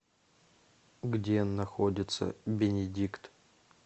где находится бенедикт